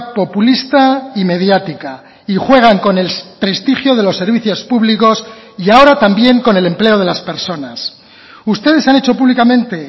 populista y mediática y juegan con el prestigio de los servicios públicos y ahora también con el empleo de las personas ustedes han hecho públicamente